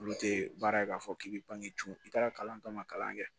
Olu tɛ baara ye k'a fɔ k'i bɛ pan i taara kalan tɔ ma kalan kɛ